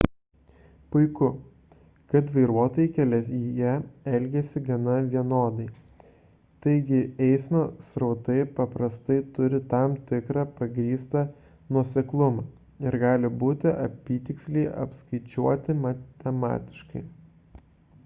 puiku kad vairuotojai kelyje elgiasi gana vienodai taigi eismo srautai paprastai turi tam tikrą pagrįstą nuoseklumą ir gali būti apytiksliai apskaičiuoti matematiškai